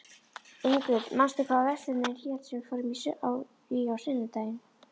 Ingrid, manstu hvað verslunin hét sem við fórum í á sunnudaginn?